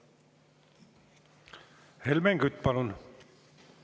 Helmen Kütt, palun!